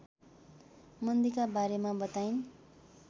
मन्दीका बारेमा बताइन्